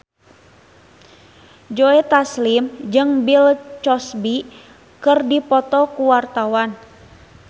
Joe Taslim jeung Bill Cosby keur dipoto ku wartawan